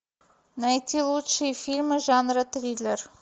найти лучшие фильмы жанра триллер